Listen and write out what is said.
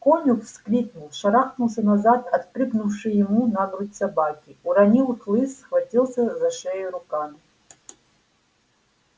конюх вскрикнул шарахнулся назад от прыгнувшей ему на грудь собаки уронил хлыст схватился за шею руками